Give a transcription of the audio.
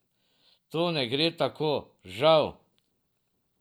To ne gre tako, žal.